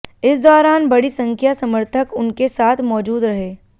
इस दौरान बड़ी संख्या समर्थक उनके साथ मौजूद रहे